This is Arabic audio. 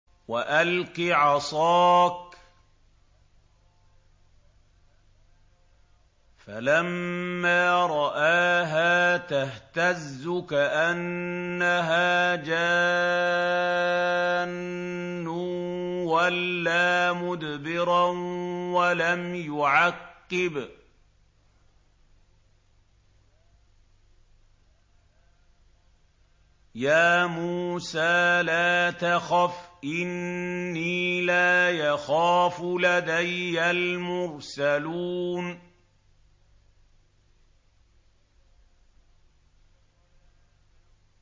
وَأَلْقِ عَصَاكَ ۚ فَلَمَّا رَآهَا تَهْتَزُّ كَأَنَّهَا جَانٌّ وَلَّىٰ مُدْبِرًا وَلَمْ يُعَقِّبْ ۚ يَا مُوسَىٰ لَا تَخَفْ إِنِّي لَا يَخَافُ لَدَيَّ الْمُرْسَلُونَ